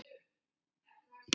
Allt of margir.